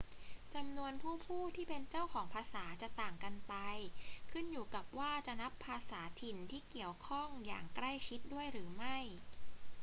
จำนวนผู้พูดที่เป็นเจ้าของภาษาจะต่างกันไป ขึ้นอยู่กับว่าจะนับภาษาถิ่นที่เกี่ยวข้องอย่างใกล้ชิดด้วยหรือไม่